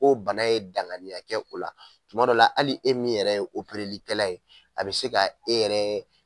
Bon bana ye danganiya tɛ ola kumadɔw la ali e yɛrɛ min ye operelikɛla ye a be se ka e yɛrɛ